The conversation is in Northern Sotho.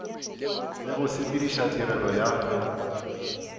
le go sepediša tirelo ya